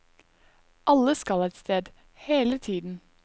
Alle skal et sted, hele tiden.